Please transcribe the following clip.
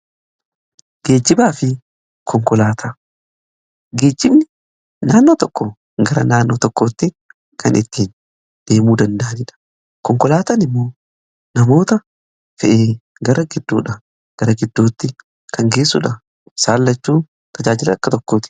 gibaa fi konkoatageechifni naannoo tokko gara naannoo tokkootti kan ittiin deemuu danda'aniidha konkolaatan immoo namoota fe'e gara gidduudha gara gidduutti kan geessuudha saalachuu tajaajila akka tokkooti